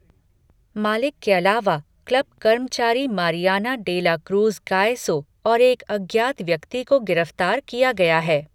मालिक के अलावा, क्लब कर्मचारी Mariana de la Cruz Gayoso और एक अज्ञात व्यक्ति को गिरफ्तार किया गया है।